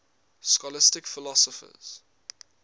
scholastic philosophers